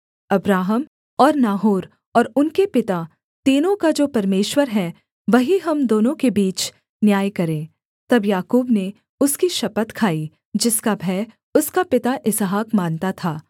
Abraham और Nahor और उनके पिता तीनों का जो परमेश्वर है वही हम दोनों के बीच न्याय करे तब याकूब ने उसकी शपथ खाई जिसका भय उसका पिता इसहाक मानता था